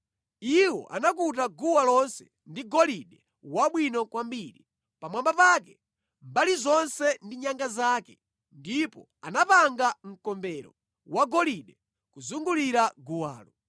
Iwo anakuta guwa lonse ndi golide wabwino kwambiri, pamwamba pake, mbali zonse ndi nyanga zake, ndipo anapanga mkombero wagolide kuzungulira guwalo.